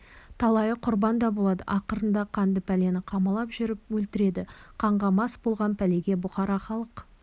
талайы құрбан да болады ақырында қанды пәлені қамалап жүріп өлтіреді қанға мас болған пәлеге бұқара халық